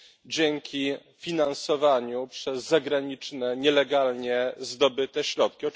dzięki finansowaniu przez zagraniczne, nielegalnie zdobyte środki.